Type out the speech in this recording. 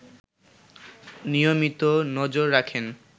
নিয়মিত নজর রাখেন